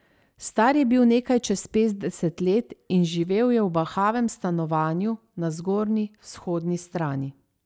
Star je bil nekaj čez petdeset let in živel je v bahavem stanovanju na Zgornji vzhodni strani.